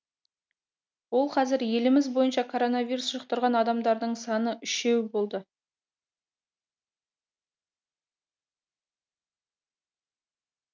ол қазір еліміз бойынша коронавирус жұқтырған адамдардың саны үшеу болды